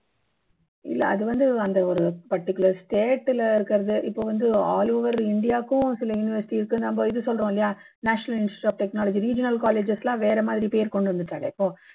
இல்ல அது வந்து அந்த ஒரு particular state ல இருக்குறது இப்போ வந்து all over india க்கும் சில university இருக்கு நம்ம இது சொல்றோம் இல்லையா national institute of technology regional colleges லாம் வேற மாதிரி பேர் கொண்டு வந்துட்டாலே இப்போ